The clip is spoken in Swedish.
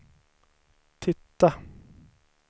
titta